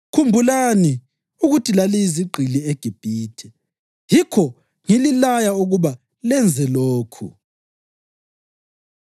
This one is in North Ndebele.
Khumbulani ukuthi laliyizigqili eGibhithe. Yikho ngililaya ukuba lenze lokhu.”